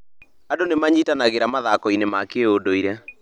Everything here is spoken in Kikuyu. Andũ nĩ manyitanagĩra mathako-inĩ ma kĩndũire.